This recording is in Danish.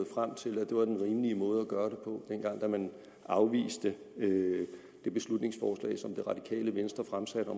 frem til at det var den rimelige måde at gøre det dengang man afviste det beslutningsforslag som det radikale venstre fremsatte